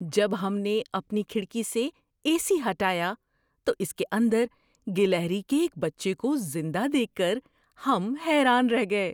جب ہم نے اپنی کھڑکی سے اے سی ہٹایا تو اس کے اندر گلہری کے ایک بچے کو زندہ دیکھ کر ہم حیران رہ گئے۔